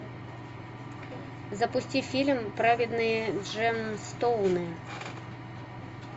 запусти фильм праведные джемстоуны